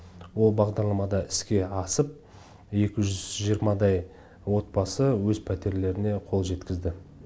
ол бағдарлама да іске асып екі жүз жиырмадай отбасы өз пәтерлеріне қол жеткізді